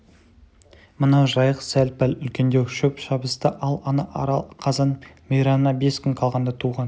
мынау жайық сәл-пәл үлкендеу шөп шабыста ал ана арал қазан мейрамына бес күн қалғанда туған